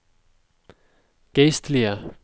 geistlige